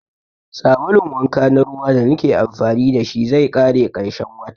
Sabulun wanka na ruwa da nake amfani da shi zai ƙare ƙarshen wata